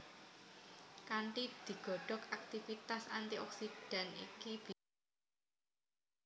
Kanthi digodhog aktivitas antioksidan iki bisa diunggahake